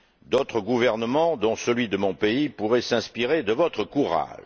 D'autres gouvernements, dont celui de mon pays, pourraient s'inspirer de votre courage.